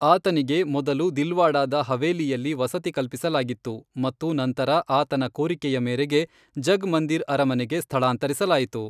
ಆತನಿಗೆ ಮೊದಲು ದಿಲ್ವಾಡಾದ ಹವೇಲಿಯಲ್ಲಿ ವಸತಿ ಕಲ್ಪಿಸಲಾಗಿತ್ತು ಮತ್ತು ನಂತರ ಆತನ ಕೋರಿಕೆಯ ಮೇರೆಗೆ ಜಗ್ ಮಂದಿರ್ ಅರಮನೆಗೆ ಸ್ಥಳಾಂತರಿಸಲಾಯಿತು.